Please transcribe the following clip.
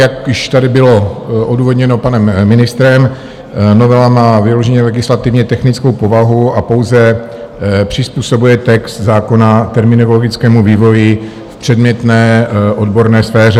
Jak již tady bylo odůvodněno panem ministrem, novela má vyloženě legislativně technickou povahu a pouze přizpůsobuje text zákona terminologickému vývoji v předmětné odborné sféře.